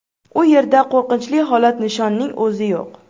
U yerda qo‘rqinchli holat nishonning o‘zi yo‘q.